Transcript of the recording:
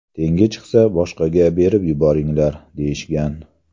Tengi chiqsa, boshqaga berib yuboringlar”, deyishgan.